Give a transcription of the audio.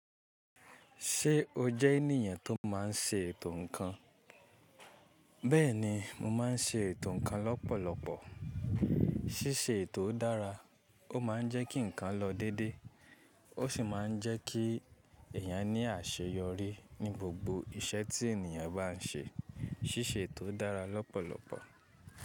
Ṣé o jẹ́ ènìyàn tó máa ń ṣe ètò ǹkan? Bẹ́ẹ̀ ni, mo máa ń ṣe ètò ǹkan lọ́pọ̀lọpọ̀. Ṣíṣe ètò dára, ó máa ń jẹ́ kí ǹkan lọ dédé, ó sì máa ń jẹ́ kí ẹ̀yàn ní àṣeyọrí ní gbogbo iṣẹ́ tí ènìyàn bá ń ṣe. Ṣíṣe ètò dára lọ́pọ̀lọpọ̀.